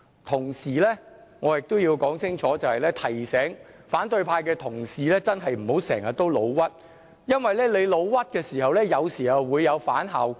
同時，我亦要說清楚，提醒反對派的同事真的不要經常誣衊別人，因為這樣做有時候會有反效果。